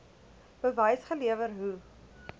bewys gelewer hoe